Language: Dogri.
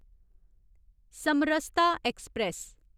समरसता ऐक्सप्रैस